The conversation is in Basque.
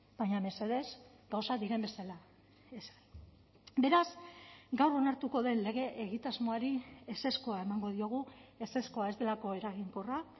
baina mesedez gauzak diren bezala beraz gaur onartuko den lege egitasmoari ezezkoa emango diogu ezezkoa ez delako eraginkorra